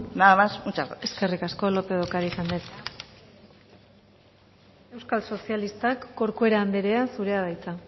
nada más muchas gracias eskerrik asko lópez de ocariz anderea euskal sozialistak corcuera anderea zurea da hitza